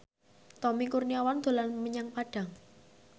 Tommy Kurniawan dolan menyang Padang